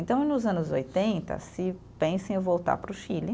Então, nos anos oitenta, se pensa em voltar para o Chile.